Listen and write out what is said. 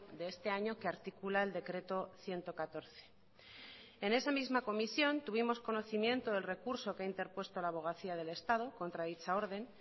de este año que articula el decreto ciento catorce en esa misma comisión tuvimos conocimiento del recurso que ha interpuesto la abogacía del estado contra dicha orden